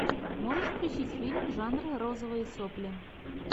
можешь включить фильм жанра розовые сопли